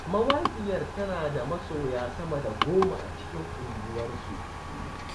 Mawaƙiyar tana da masoya sama da goma a cikin unguwarsu.